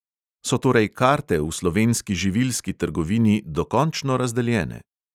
So torej karte v slovenski živilski trgovini dokončno razdeljene?